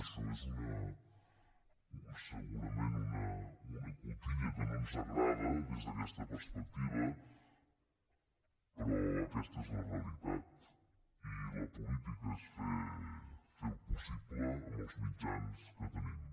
això és segurament una cotilla que no ens agrada des d’aquesta perspectiva però aquesta és la realitat i la política és fer el possible amb els mitjans que tenim